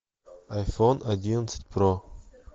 айфон одиннадцать про